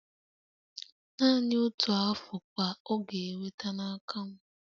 Naanị otu Afụ ka ọ ga-enweta n'aka m